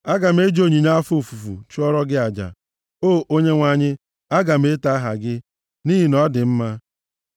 Aga m eji onyinye afọ ofufu chụọrọ gị aja; O Onyenwe anyị, aga m eto aha gị, nʼihi na ọ dị mma.